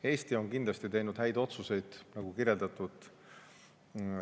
Eesti on kindlasti teinud häid otsuseid, nagu kirjeldatud.